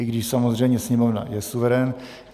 I když samozřejmě Sněmovna je suverén.